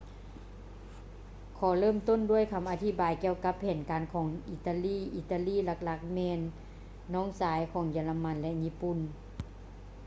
ຂໍເລີ່ມຕົ້ນດ້ວຍຄຳອະທິບາຍກ່ຽວກັບແຜນການຂອງອີຕາລີ ອີຕາລີຫຼັກໆແລ້ວແມ່ນ ນ້ອງຊາຍ ຂອງເຢຍລະມັນ ແລະ ຍີ່ປຸ່ນ